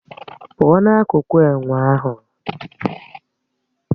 Pùo na-akuku ènwe ahụ